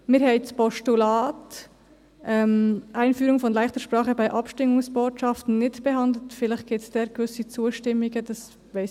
Das Postulat «Einführung von ‹leichter Sprache› bei Abstimmungsbotschaften» haben wir nicht behandelt, vielleicht wird es eine gewisse Zustimmung dafür geben.